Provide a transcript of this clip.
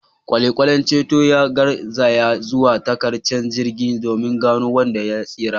Kwale-kwalen ceton ya garzaya zuwa tarkacen jirgin domin gano wanda ya tsira.